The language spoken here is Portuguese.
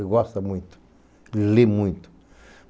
Ele gosta muito, ele lê muito.